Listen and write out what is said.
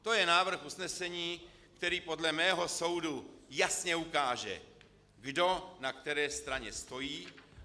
To je návrh usnesení, který podle mého soudu jasně ukáže, kdo na které straně stojí.